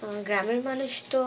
হম গ্রামের মানুষ তো